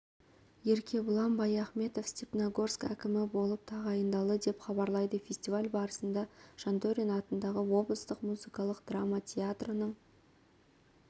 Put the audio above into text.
еркебұлан баяхметов степногорск әкімі болып тағайындалды деп хабарлайды фестиваль барысында жантөрин атындағы облыстық музыкалық драма театрының